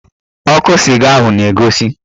Ọkụ sịga ahụ na-egosi